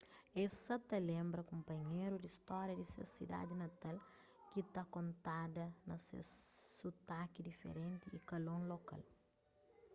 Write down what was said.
es sa ta lenbra kunpanheru di stória di ses sidadi natal ki ta kontada na ses sutaki diferenti y kalon lokal